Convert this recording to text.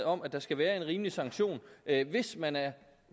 om at der skal være en rimelig sanktion hvis man